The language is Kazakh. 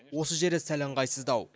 осы жері сәл ыңғайсыздау